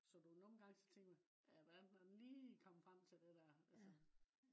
så du nogle gange så tænker man hvordan er den lige kommet frem til det der altså